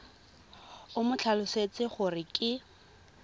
o mo tlhalosetse gore ke